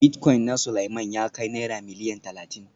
Bilitcoin na Suleiman ya kai Naira Miliyan Talatin